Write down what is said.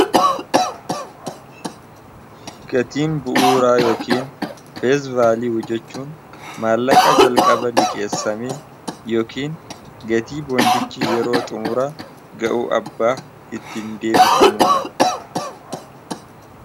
namoonni gabaa kana irratti hirmaachuu isaanii dura waa'ee faayinaansii fi akkaataa gabaan kun itti hojjetu barachuun girqama hubannoo gaa osoo hin qabaatin miiraa fi oduu namoota qofaan deemuun maallaqa ofii balaafsaaxilu waan ta'eef of eeggannoo guddaa godhuun baay'ee barbaachisaa dha